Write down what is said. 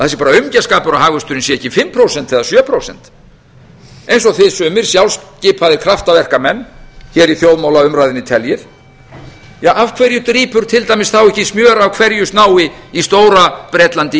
aumingjaskapur að hagvöxturinn sé ekki fimm prósent eða sjö prósent eins og þið sumir sjálfskipaðir kraftaverkamenn hér í þjóðmálaumræðunni teljið af hverju drýpur til dæmis þá ekki smjör af hverju stað í stóra bretlandi